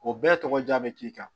O bɛɛ tɔgɔ jaa bɛ k'i kan